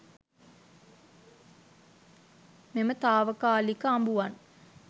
මෙම තාවකාලික අඹුවන්